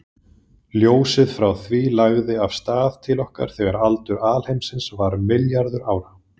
Ljósið frá því lagði af stað til okkar þegar aldur alheimsins var um milljarður ára.